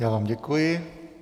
Já vám děkuji.